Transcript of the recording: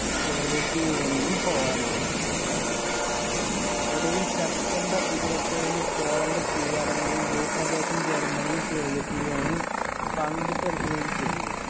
soviet union ഉം പോളണ്ടിനെ ആക്രമിച്ചു ഒടുവിൽ സെപ്തംബർ ഇരുപത്തേഴിന് പോളണ്ട് കീഴടങ്ങുകയും ഭൂപ്രദേശം ജർമ്മനിയും soviet union ഉം പങ്കിട്ടെടുക്കുകയും ചെയ്തു.